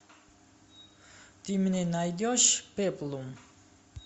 ты мне найдешь пеплум